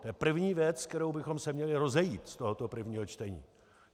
To je první věc, s kterou bychom se měli rozejít z tohoto prvního čtení.